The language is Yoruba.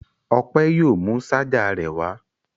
Ọpẹ yóò mú ṣajà rẹ̀ wá.